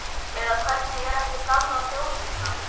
Hér er allt gjörsamlega á kafi í snjó.